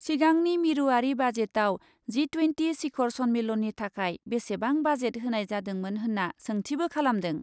सिगांनि मिरुआरि बाजेटआव जि ट्वेन्टि सिखर सन्मेलननि थाखाय बेसेबां बाजेट होनाय जादोंमोन होन्ना सोंथिबो खालामदों ।